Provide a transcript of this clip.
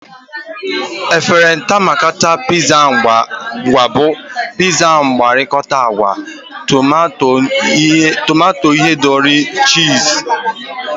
Efrata maka pizza ga-abụ pizza mgwakota agwa, tomato ihendori, cheese, na ihe ndị ị chọrọ.